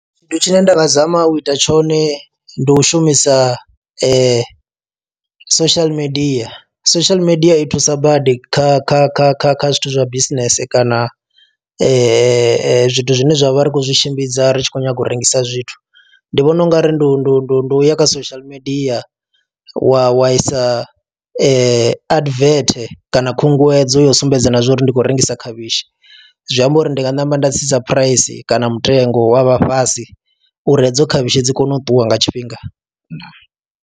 Tshithu tshine nda nga zama u ita tshone ndi u shumisa social media, social media i thusa badi kha kha kha kha kha zwithu zwa bisinese kana zwithu zwine zwa vha ri khou zwi tshimbidza ri tshi khou nyanga u rengisa zwithu. Ndi vhona ungari ndi u ya kha social media wa wa isa advert kana khunguwedzo ya u sumbedza na zwa uri ndi khou rengisa khavhishi, zwi amba uri ndi nga namba nda tsitsa phuraisi kana mutengo wa vha fhasi uri hedzo khavhishi dzi kone u ṱuwa nga tshifhinga ndaa.